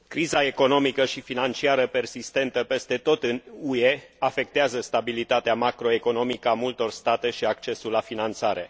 Criza economică și financiară persistentă peste tot în UE afectează stabilitatea macroeconomică a multor state și accesul la finanțare.